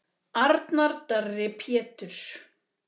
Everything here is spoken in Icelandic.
Arnar Darri Péturs.